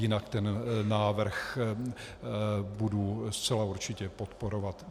Jinak ten návrh budu zcela určitě podporovat.